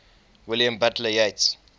william butler yeats